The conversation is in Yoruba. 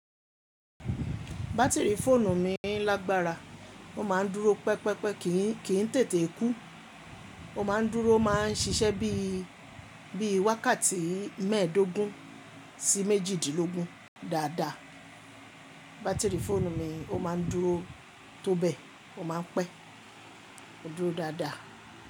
Bátìrì fóònù mi lágbára, ó máa ń dúró pẹpẹpẹ kì í tètè kú, ó máa ń dúró, máa ń ṣiṣẹ́ bíi, bíi wákàtí mẹ́ẹ̀dógún sí méjìdínlógún dáadáa. Bátìrì fóònù mi ó máa ń dúró tó bẹ́, ó máa ń pẹ́, ó dúró dáadáa.